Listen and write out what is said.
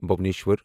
Bhubaneswar